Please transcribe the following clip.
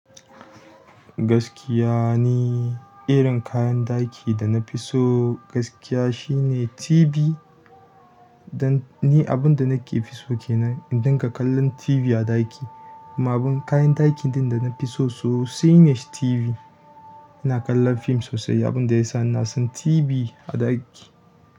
Gaskiya ni, irin kayan ɗaki da na fi so gaskiya shine TV. Dan ni abunda nake fi so kenan, in dinga kallon TV a ɗaki. Ma abun kayan ɗakin ɗin da na fi so sosai ne shi TV. Ina kallon fim sosai, abunda yasa ina son TV a ɗaki.